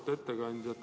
Auväärt ettekandja!